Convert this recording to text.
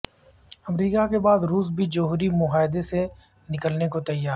امریکا کے بعد روس بھی جوہری معاہدے سے نکلنے کو تیار